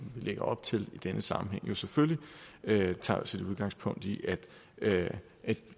vi lægger op til i denne sammenhæng selvfølgelig tager udgangspunkt i at